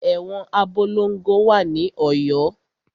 Ẹ̀wọn Abolongo wà ní Ọ̀yọ́.